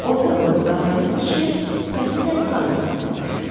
Orta boylu qarayanız kişi, səsi də qadın səsinə oxşayır.